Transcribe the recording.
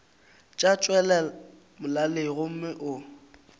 tša tšwela molaleng gomme o